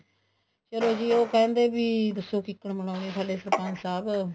ਚਲੋ ਵੀ ਉਹ ਕਹਿੰਦੇ ਵੀ ਦੱਸੋ ਕੀਕਣ ਮਨਾਉਣੀ ਏ ਸਾਡੇ ਸਰਪੰਚ ਸਾਹਿਬ